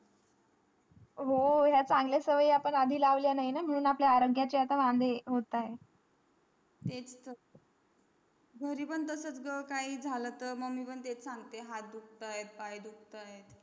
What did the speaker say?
हो हे चांगल्या सवय आपण आधी लावल्या नाही म्हणूनआपल्या आरोग्य ची आता वंदे होतंय त्यातच तर घरी पण तसाच तर काही झ्हाला तर मी पण त्यातच सांगते हाथ दुखतायत पाय दुखतायत